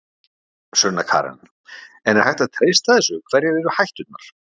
Sunna Karen: En er hægt að treysta þessu, hverjar eru hætturnar?